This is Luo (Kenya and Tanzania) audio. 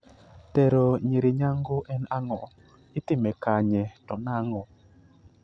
Tero nyiri nyango en ang'o, itime kanye to nang'o?